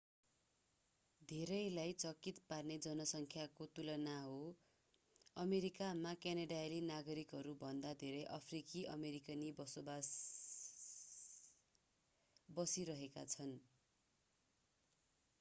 धेरैलाई चकित पार्ने जनसङ्ख्याको तुलना हो अमेरिकामा क्यानेडाली नागरिकहरूभन्दा धेरै अफ्रिकी अमेरिकी बसिरहेका छन्